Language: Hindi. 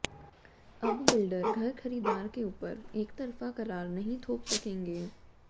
अब बिल्डर घर खरीदार के ऊपर एकतरफा करार नहीं थोप सकेंगे